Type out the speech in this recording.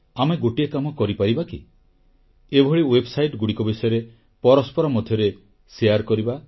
ଆମେ ଗୋଟିଏ କାମ କରିପାରିବା କି ଏଭଳି ୱେବସାଇଟଗୁଡ଼ିକ ବିଷୟରେ ପରସ୍ପର ମଧ୍ୟରେ ଆଦାନପ୍ରଦାନ କରିବା